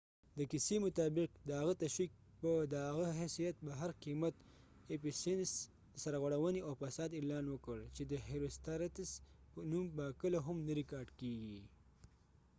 د کیسې مطابق د هغه تشويق په د هغه حیثیت په هر قیمت. ایفیسینسephesians ،سرغړونی او فساد اعلان وکړ چې د هیروستراتس herostratus نوم به کله هم نه ریکارډ کېږی